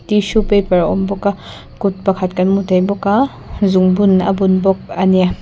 tissue paper a awm bawka kut kan hmu thei bawka zungbun a bun bawk a ni.